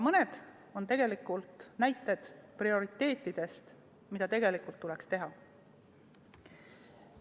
Mõned on tegelikult näited prioriteetide kohta, mida tuleks teha.